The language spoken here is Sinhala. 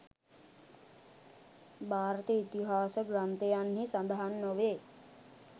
භාරත ඉතිහාස ග්‍රන්ථයන්හි සඳහන් නොවේ.